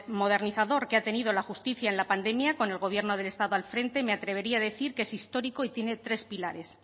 modernizador que ha tenido la justicia en la pandemia con el gobierno del estado al frente me atrevería a decir que es histórico y tiene tres pilares